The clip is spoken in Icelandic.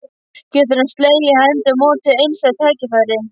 Getur hann slegið hendi á móti einstæðu tækifæri?